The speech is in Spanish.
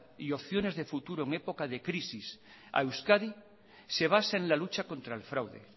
y opciones de futuro en época de crisis a euskadi se basa en la lucha contra el fraude